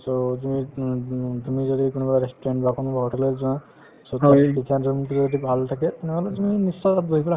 so, তুমি um um তুমি যদি কোনোবা restaurant বা কোনোবা hotel ত যোৱা so যদি ভাল থাকে তেনেহলে তুমি নিশ্চয় তাত বহি পেলাই